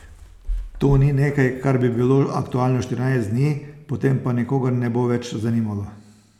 To ni nekaj, kar bi bilo aktualno štirinajst dni, potem pa nikogar ne bo več zanimalo.